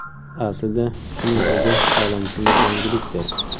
Aslida shuning o‘zi olamshumul yangilikdir.